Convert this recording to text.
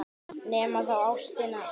Nema þá ástin.